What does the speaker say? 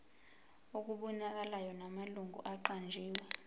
okubonakalayo namalungu aqanjiwe